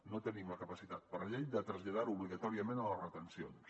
no tenim la capacitat per llei de traslladar ho obligatòriament a les retencions